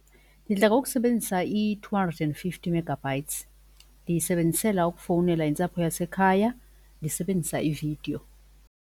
Ndidla ngokusebenzisa i-two hundred and fifty megabytes ndiyisebenzisela ukufowunela intsapho yasekhaya ndisebenzisa ividiyo.